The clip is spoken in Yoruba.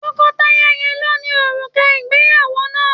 Tọkọtaya yẹn ló ni òrùka ìgbéyàwó náà.